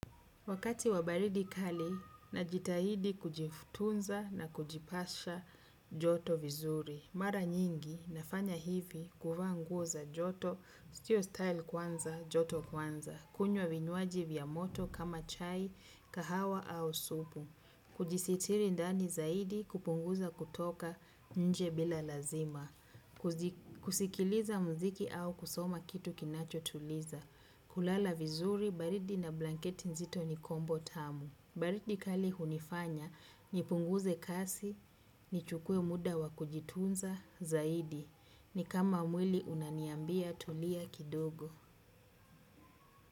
Wakati wa baridi kali, najitahidi kujitunza na kujipasha joto vizuri. Mara nyingi, nafanya hivi, kuvaa nguo za joto, sio style kwanza, joto kwanza. Kunywa vinywaji vya moto kama chai, kahawa au supu. Kujisitiri ndani zaidi kupunguza kutoka nje bila lazima. Kusikiliza muziki au kusoma kitu kinachotuliza. Kulala vizuri, baridi na blanketi nzito ni combo tamu. Baridi kali hunifanya nipunguze kasi, nichukue muda wa kujitunza zaidi. Ni kama mwili unaniambia tulia kidogo.